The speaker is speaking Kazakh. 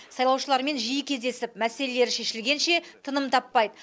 сайлаушыларымен жиі кездесіп мәселелері шешілгенше тыным таппайды